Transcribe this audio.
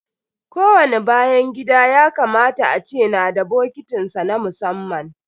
Ko wani bayan gida ya kamata a ce na da bokitin sa na musamman.